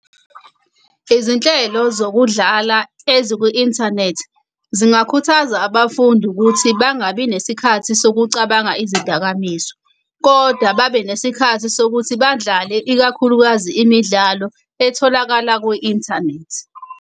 Izinhlelo zokudlala ezikwi-inthanethi zingakhuthaza abafundi ukuthi bangabi nesikhathi sokucabanga izidakamizwa, kodwa babe nesikhathi sokuthi badlale ikakhulukazi imidlalo etholakala kwi-inthanethi.